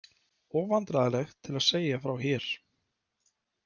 Of vandræðalegt til að segja frá hér.